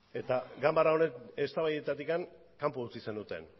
eta ganbara honen eztabaidetatik kanpo utzi zenuten